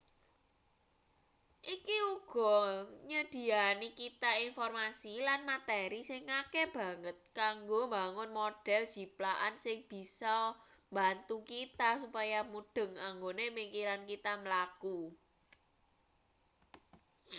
iki uga nyedhiyani kita informasi lan materi sing akeh banget kanggo mbangun model jiplakan sing bias mbantu kita supaya mudheng anggone pikiran kita mlaku